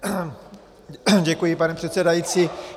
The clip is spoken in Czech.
Děkuji, pane předsedající.